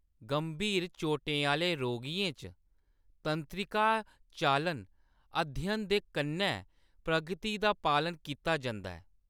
गंभीर चोटें आह्‌‌‌ले रोगियें च, तंत्रिका चालन अध्ययन दे कन्नै प्रगति दा पालन कीता जंदा ऐ।